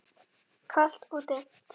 Kalt og dimmt.